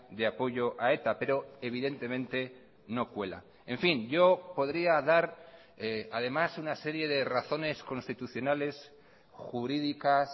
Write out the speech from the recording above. de apoyo a eta pero evidentemente no cuela en fin yo podría dar además una serie de razones constitucionales jurídicas